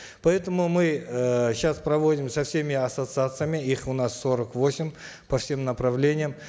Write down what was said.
поэтому мы э сейчас проводим со всеми ассоциациями их у нас сорок восемь по всем направлениям